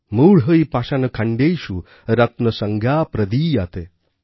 মূঢ়ৈঃ পাষাণখণ্ডেষু রত্নসংজ্ঞা প্রদীয়তে